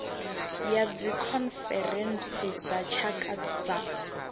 ya dzikhonferentsi dza tshaka dza